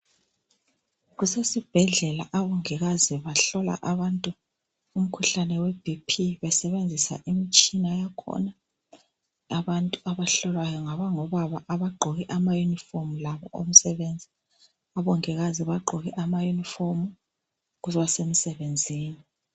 Kusesibhedlela abongikazi bahlola abantu umkhuhlane weBP besebenzisa imitshina yakhona. Abantu abahlolwayo ngabangobaba abagqoke amayunifomu labo omsebenzi. Abongikazi bagqoke amayunifomu ngoba basemsebenzini.